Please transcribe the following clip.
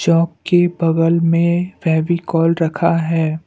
Chalk के बगल में फेविकोल रखा है।